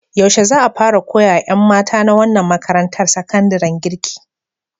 Yaushe za a fara koya wa ƴan mata na wannan makarantar sakandaren girki?